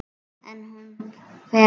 En ef hún felur sig?